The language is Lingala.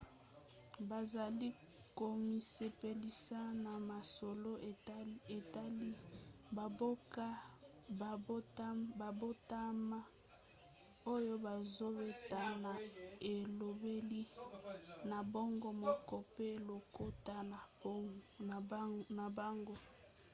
bazali komisepelisa na masolo etali bamboka babotama oyo bazobeta na elobeli na bango moko pe lokota na bango